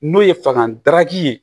N'o ye fakan daraka ye